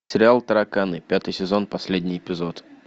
сериал тараканы пятый сезон последний эпизод